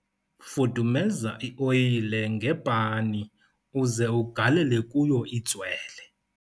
fudumeza i-oyile ngepani uze ugalele kuyo itswele